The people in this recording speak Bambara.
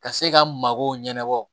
Ka se ka magow ɲɛnabɔ